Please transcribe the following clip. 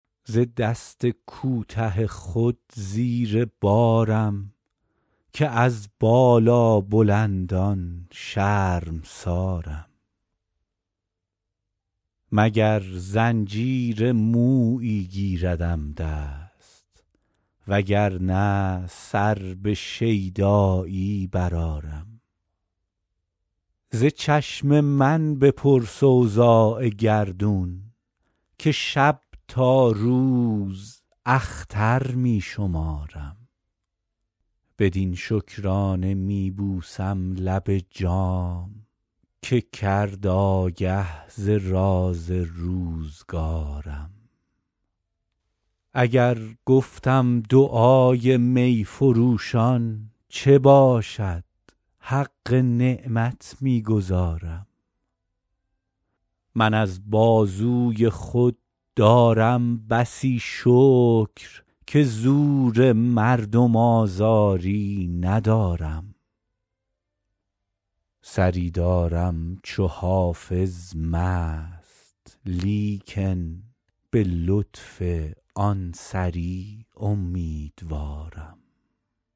ز دست کوته خود زیر بارم که از بالابلندان شرمسارم مگر زنجیر مویی گیردم دست وگر نه سر به شیدایی برآرم ز چشم من بپرس اوضاع گردون که شب تا روز اختر می شمارم بدین شکرانه می بوسم لب جام که کرد آگه ز راز روزگارم اگر گفتم دعای می فروشان چه باشد حق نعمت می گزارم من از بازوی خود دارم بسی شکر که زور مردم آزاری ندارم سری دارم چو حافظ مست لیکن به لطف آن سری امیدوارم